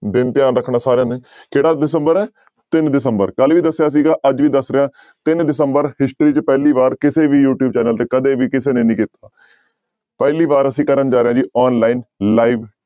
ਦਿਨ ਧਿਆਨ ਰੱਖਣਾ ਸਾਰਿਆਂ ਨੇ ਕਿਹੜਾ ਦਸੰਬਰ ਹੈ ਤਿੰਨ ਦਸੰਬਰ ਕੱਲ੍ਹ ਵੀ ਦੱਸਿਆ ਸੀਗਾ ਅੱਜ ਵੀ ਦੱਸ ਰਿਹਾਂ ਤਿੰਨ ਦਸੰਬਰ history ਚ ਪਹਿਲੀ ਵਾਰ ਕਿਸੇ ਵੀ ਯੂਟਿਊਬ ਚੈਨਲ ਤੇ ਕਦੇ ਵੀ ਕਿਸੇ ਨੇ ਨੀ ਕੀਤਾ, ਪਹਿਲੀ ਵਾਰ ਅਸੀਂ ਕਰਨ ਜਾ ਰਹੇ ਹਾਂ ਜੀ online live